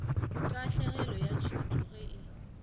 tahlegelo ya tšhuto ge e